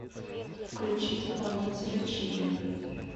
включи исполнителя чили